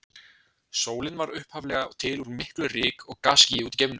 Sólin varð upphaflega til úr miklu ryk- og gasskýi úti í geimnum.